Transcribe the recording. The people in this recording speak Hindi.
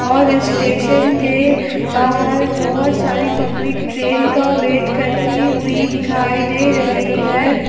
और स्टेशन के बाहर बहुत सारी पब्लिक ट्रेन का वेट करती हुई दिखाई दे रही है।